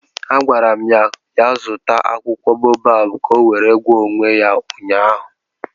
A gwara m ya zụta akwụkwọ boabab ka ọ were gwọọ onwe ya ụnyaahụ